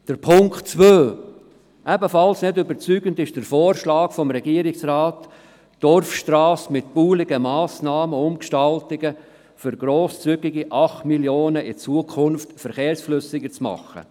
Zweitens: Ebenfalls nicht überzeugend ist der Vorschlag des Regierungsrates, die Dorfstrasse mit baulichen Massnahmen umzugestalten, um mit grosszügigen 8 Mio. Franken den Verkehr in Zukunft flüssiger zu machen.